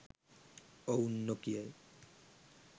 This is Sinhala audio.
ඔවුන් නොකියයි.